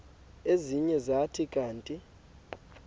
ezinye zathi kanti